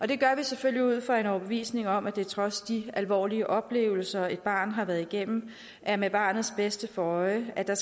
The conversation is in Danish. det gør vi selvfølgelig ud fra en overbevisning om at det trods de alvorlige oplevelser et barn har været igennem er med barnets bedste for øje at der